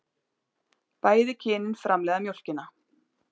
Bæði kynin framleiða mjólkina.